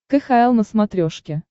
кхл на смотрешке